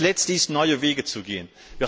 Und das Letzte ist, neue Wege zu gehen.